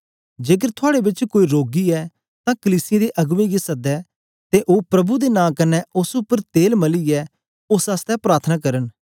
जेकर थुआड़े बेच कोई रोगी ऐ तां कलीसिया दे अगबें गी सदै ते ओ प्रभु दे नां कन्ने ओस उपर तेल मलियै ओस आसतै प्रार्थना करन